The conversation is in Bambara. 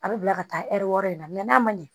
A bɛ bila ka taa ɛri wɔɔrɔ in na mɛ n'a man ɲɛ